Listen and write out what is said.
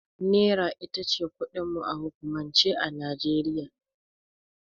Naira itace kudin mu a hukumance a Nijeriya